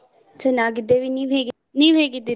ಚೆನ್ನಾಗಿದ್ದೇವೆ ನೀವ್ ಹೇಗೆ ನೀವ್ ಹೇಗೆ ಇದ್ದೀರಾ?